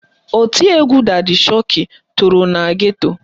Oti egwu dadi shoki toro na geto